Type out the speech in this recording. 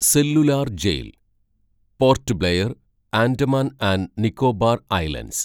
cellular jail port Blair, Andaman and Nicobar islands